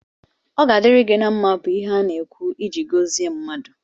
Ọ ga-adịri gi na mma bu ihe ana-ekwu ịji gọzi ndị mmadụ